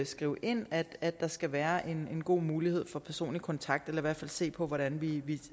skrive ind at der skal være en god mulighed for personlig kontakt eller i hvert fald se på hvordan vi